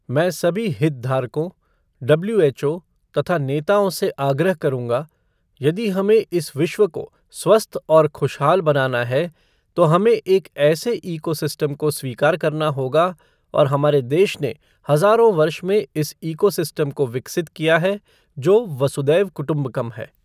मैं सभी हितधारकों, डब्ल्यूएचओ तथा नेताओं से आग्रह करूंगा, यदि हमें इस विश्व को स्वस्थ और खुशहाल बनाना है तो हमें एक ऐसे इकोसिस्टम को स्वीकार करना होगा और हमारे देश ने हजारों वर्ष में इस इकोसिस्टम को विकसित किया है जो वसुधैव कुटुम्बकम है।